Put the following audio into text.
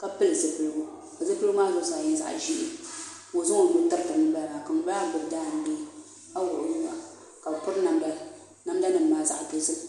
ka pili zipiligu ka zipiligu maa zuɣusaa nyɛ zaɣ ʒiɛ ka o zaŋ o nuu tiriti ŋunbala ka ŋunbala maa gbubi jaangbee ka wuɣi o nuwa ka bi piri namda namda nim maa zaɣ dozim